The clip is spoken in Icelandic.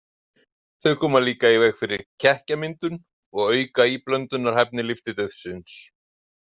Þau koma líka í veg fyrir kekkjamyndun og auka íblöndunarhæfni lyftiduftsins.